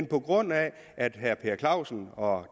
på grund af at herre per clausen og